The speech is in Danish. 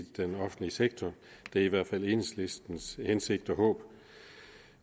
den offentlige sektor det er i hvert fald enhedslistens hensigt og håb